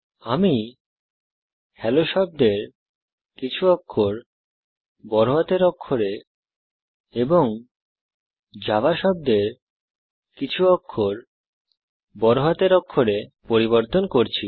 আমি হেলো শব্দের কিছু অক্ষর এবং জাভা শব্দের কিছু অক্ষর বড় হাতের অক্ষরে পরিবর্তন করছি